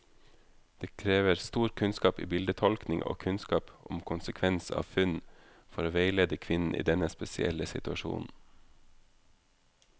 Det krever stor kunnskap i bildetolkning og kunnskap om konsekvens av funn, for å veilede kvinnen i denne spesielle situasjonen.